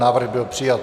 Návrh byl přijat.